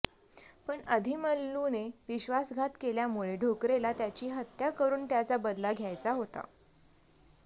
पण आदिमल्लूने विश्वासघात केल्यामुळे ढोकरेला त्याची हत्या करून त्याचा बदला घ्यायचा होता